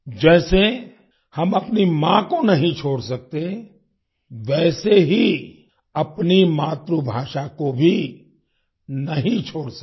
जैसे हम अपनी माँ को नहीं छोड़ सकते वैसे ही अपनी मातृभाषा को भी नहीं छोड़ सकते